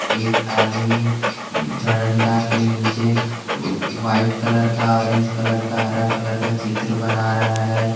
एक आदमी झंडा के नीचे वाइट कलर का ऑरेंज कलर का हरा कलर का चित्र बना रहा है।